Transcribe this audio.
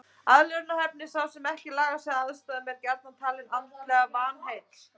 Aðlögunarhæfni Sá sem ekki lagar sig að aðstæðum er gjarnan talinn andlega vanheill.